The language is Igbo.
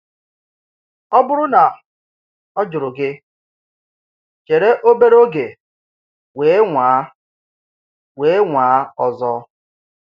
Ọ̀ bụrụ na ọ̀ jụrụ gị, chèrè obere oge wee nwàa wee nwàa ọzọ.